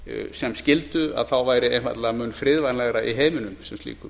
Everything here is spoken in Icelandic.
sem skyldu væri einfaldlega mun friðvænlegra í heiminum sem slíkum